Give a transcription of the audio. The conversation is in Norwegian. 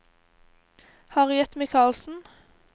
Harriet Mikalsen